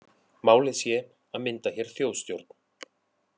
Málið sé að mynda hér þjóðstjórn